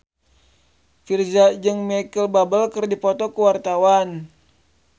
Virzha jeung Micheal Bubble keur dipoto ku wartawan